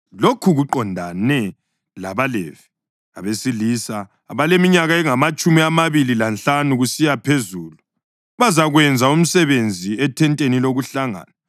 “Lokhu kuqondane labaLevi: Abesilisa abaleminyaka engamatshumi amabili lanhlanu kusiya phezulu bazakwenza umsebenzi ethenteni lokuhlangana,